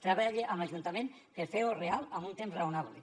treballe amb l’ajuntament per fer ho real en un temps raonable